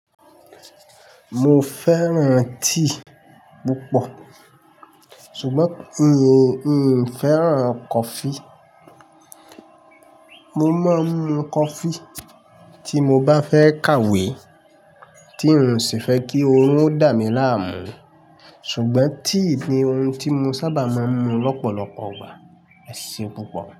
Mo fẹ́ràn tea púpọ̀ ṣùgbọ́n mi ò fẹ́ràn coffee. Mo máa ń mu coffee tí mo bá fẹ́ kàwé tí n sì fẹ́ kí orun ó dà mí láàmú. Ṣùgbọ́n tea ni ohun tí mo sábà máa ń mu lọ́pọ̀lọpọ̀ igbà. Ẹse púpọ̀.